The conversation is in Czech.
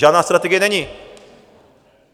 Žádná strategie není.